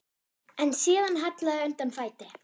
En síðan hallaði undan fæti.